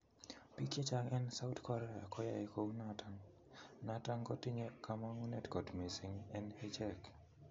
Pic chechang en south Krea koyae kounoton noton kotinye komongunet kot missing en ichek.